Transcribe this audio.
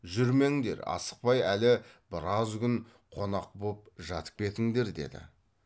жүрмеңдер асықпай әлі біраз күн қонақ боп жатып кетіңдер деді